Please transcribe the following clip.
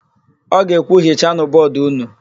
Ọ ga-ekwu, "hichanụ bọọdụ ụnụ"!